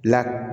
La